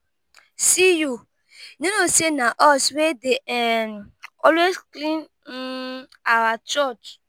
see you you no know say na us wey dey um always clean um our church.